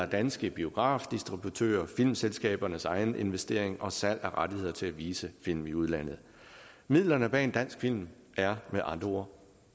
danske biografdistributører filmselskabernes egen investering og salg af rettigheder til at vise film i udlandet midlerne bag en dansk film er med andre ord